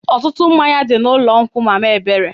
Ọtụtụ mmanya dị n'ụlọ nkwụ mama ebere.